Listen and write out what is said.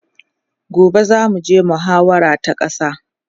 gobe zamu je muhawara ta ƙasa